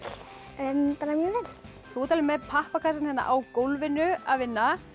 þú ert með pappakassann á gólfinu að vinna